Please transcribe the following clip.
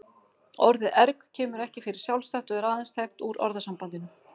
Orðið erg kemur ekki fyrir sjálfstætt og er aðeins þekkt úr orðasambandinu.